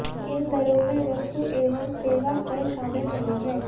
इन दरों में वस्तु एवं सेवा कर शामिल नहीं हैं